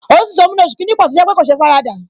Òtútù tó mú ní oṣù kìíní pò tó jẹ́ pé kò sé faradà